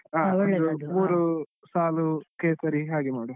ಅಂದ್ರೆ ಅದು ಮೂರು ಸಾಲು ಕೇಸರಿ ಹಾಗೆ ಮಾಡ್ವ.